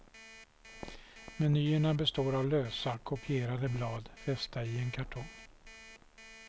Menyerna består av lösa, kopierade blad fästa i en kartong.